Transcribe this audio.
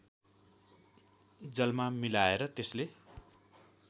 जलमा मिलाएर त्यसले